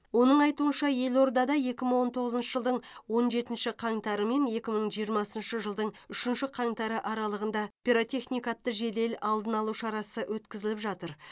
оның айтуынша елордада екі мың он тоғызыншы жылдың он жетінші қаңтары мен екі мың жиырмасыншы жылдың үшінші қаңтары аралығында пиротехника атты жедел алдын алу шарасы өткізіліп жатыр